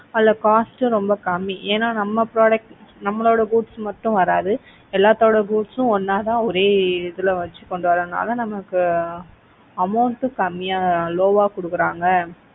அதுல cost ரொம்ப கம்மி. ஏன்னா நம்ம products நம்மளோட goods மட்டும் வராது. எல்லாத்தோட goods ம் ஒண்ணா ஒரே இதுல வச்சு கொண்டு வர்றதுனால நமக்கு amount கம்மியா low ஆ கொடுக்கிறாங்க.